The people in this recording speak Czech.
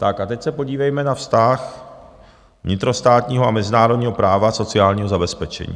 Tak a teď se podívejme na vztah vnitrostátního a mezinárodního práva sociálního zabezpečení.